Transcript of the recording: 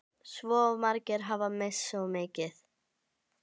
Svo margir hafa misst svo mikið.